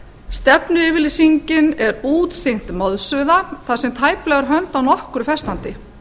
stefnuyfirlýsingin er útþynnt moðsuða þar sem tæplega er hönd á nokkru festandi